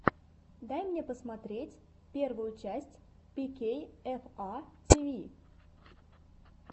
дай мне посмотреть первую часть пикейэфа тиви